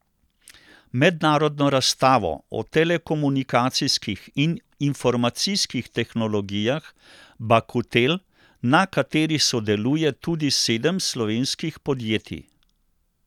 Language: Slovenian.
Mednarodno razstavo o telekomunikacijskih in informacijskih tehnologijah Bakutel, na kateri sodeluje tudi sedem slovenskih podjetij.